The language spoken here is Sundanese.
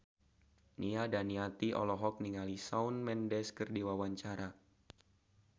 Nia Daniati olohok ningali Shawn Mendes keur diwawancara